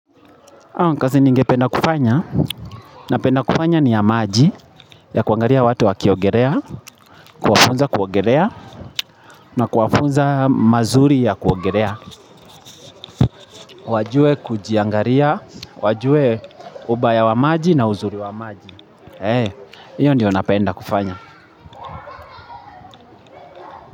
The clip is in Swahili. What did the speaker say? Kazi nigependa kufanya, na penda kufanya ni ya maji, ya kuangalia watu wakiogelea, kuwafunza kuogelea, na kuwafunza mazuri ya kuogelea. Wajue kujiangalia, wajue ubaya wa maji na uzuri wa maji. Hiyo ndiyo na penda kufanya.